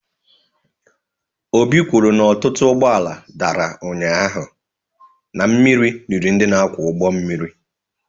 Obi kwuru na ọtụtụ ụgbọ mmiri dara ụnyahụ na mmiri riri ndị na-akwọ ụgbọ mmiri.